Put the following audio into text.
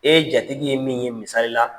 E jatigi ye min ye misali la.